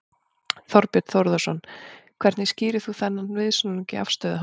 Þorbjörn Þórðarson: Hvernig skýrir þú þá þennan viðsnúning í afstöðu hans?